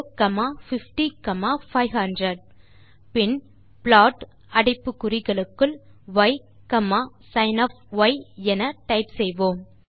பின் plot அடைப்பு குறிகளுக்குள் yசின் என டைப் செய்யலாம்